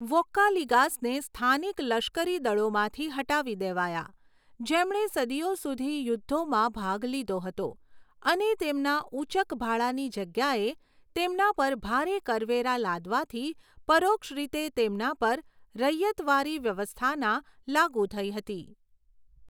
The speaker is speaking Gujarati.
વોક્કાલિગાસને સ્થાનિક લશ્કરી દળોમાંથી હટાવી દેવાયા, જેમણે સદીઓ સુધી યુદ્ધોમાં ભાગ લીધો હતો અને તેમના ઊચક ભાડાની જગ્યાએ તેમના પર ભારે કરવેરા લાદવાથી પરોક્ષ રીતે તેમના પર રૈયતવારી વ્યવસ્થાના લાગુ થઈ હતી.